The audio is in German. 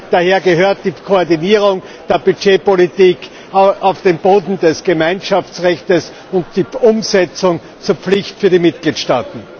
Daher gehört die Koordinierung der Budgetpolitik auf den Boden des Gemeinschaftsrechtes und die Umsetzung zur Pflicht für die Mitgliedstaaten.